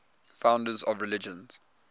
founders of religions